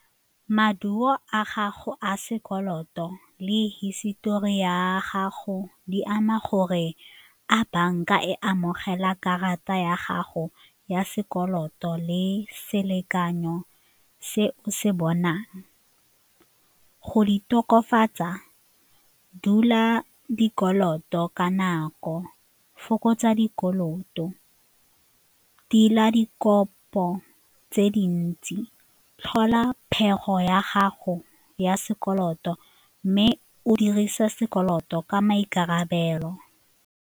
Maduo a gago a sekoloto le hisitori ya gago di ama gore a banka e amogela karata ya gago ya sekoloto le selekanyo se o se bonang go di tokafatsa, dula dikoloto ka nako, fokotsa dikoloto, tila dikobo puo ka tse dintsi, tlhola phetogo ya gago ya sekoloto mme o dirise sekoloto ka maikarabelo.